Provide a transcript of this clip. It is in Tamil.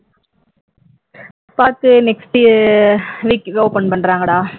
பாப்பாக்கு next week open பண்றாங்கடா